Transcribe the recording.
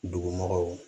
Dugumɔgɔw